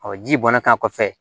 ji bɔnna kan kɔfɛ